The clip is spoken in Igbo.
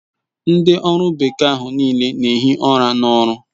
Ndi oru bekee ahu n'ile n'ehi ura n'oru